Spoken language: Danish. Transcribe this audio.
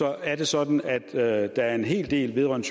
er det sådan at at der er en hel del vedrørende